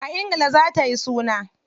A ingila za ayi suna.